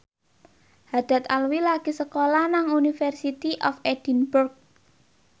Haddad Alwi lagi sekolah nang University of Edinburgh